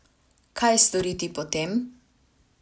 Kaj storiti potem?